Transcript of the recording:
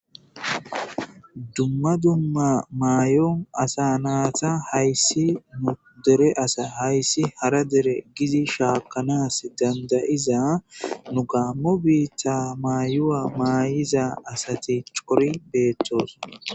dumma dumma maayon asa naata hayssi nu dere asa hayssi hara dere gizi shaakanas dandayiza nu gaammo biitta maayuwa maayiza asati cori beettoson